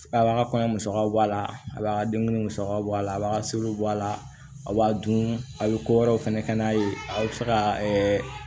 A b'a ka kɔɲɔ musaka bɔ a la a b'a ka denguli musakaw bɔ a la a b'a ka seluw bɔ a la a b'a dun a bɛ ko wɛrɛw fɛnɛ kɛ n'a ye aw be se ka